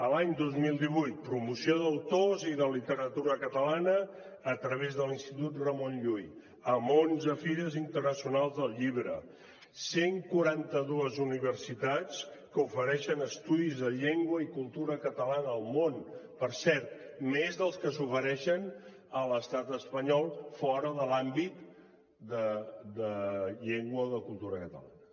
l’any dos mil divuit promoció d’autors i de literatura catalana a través de l’institut ramon llull amb onze fires internacionals del llibre cent i quaranta dos universitats que ofereixen estudis de llengua i cultura catalana al món per cert més dels que s’ofereixen a l’estat espanyol fora de l’àmbit de llengua o de cultura catalana